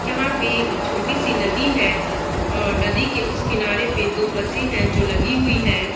यहाँ पे एक छोटी सी नदी है और नदी के उस किनारे पे दो बसे है जो लगी हुई है।